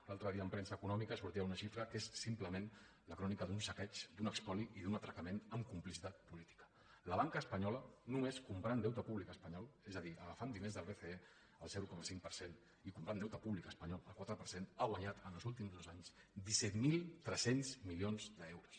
l’altre dia en premsa econòmica sortia una xifra que és simplement la crònica d’un saqueig d’un espoli i d’un atracament amb complicitat política la banca espanyola només comprant deute públic espanyol és a dir agafant diners del bce al zero coma cinc per cent i comprant deute públic espanyol al quatre per cent ha guanyat en els últims dos anys disset mil tres cents milions d’euros